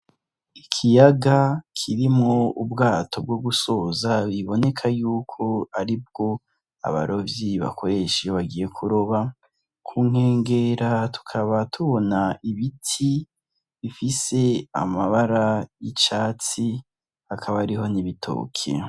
Ikiyaga kirimwo ubwato bwo gusoza biboneka yuko aribwo abarovyi bakoresha iyo bagiye kuroba, kungegera tukaba tubona igiti gifise amabara y'icatsi, hakaba hariho n'ibitoki.